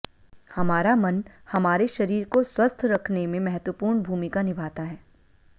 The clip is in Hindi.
हमारा मन हमारे शरीर को स्वस्थ रखने में महत्वपूर्ण भूमिका निभाता है